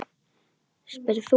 spyrð þú.